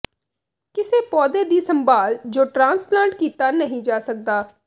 ਕਿਸੇ ਪੌਦੇ ਦੀ ਸੰਭਾਲ ਜੋ ਟ੍ਰਾਂਸਪਲਾਂਟ ਕੀਤਾ ਨਹੀਂ ਜਾ ਸਕਦਾ